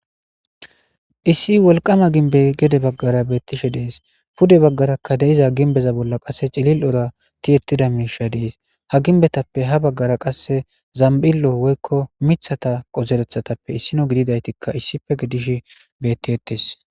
Issi wolqama ginbe gede baggara beettishe dees pude baggarakka deiza ginbeza bolla qasse cilil ora ti ettida miisha dees ha ginbetappe ha baggara qasse zambillo woykko mithata qozerethatappe issino gididaytikka issife gidish bettiettes.